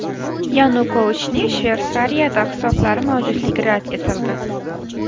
Yanukovichning Shveysariyada hisoblari mavjudligi rad etildi.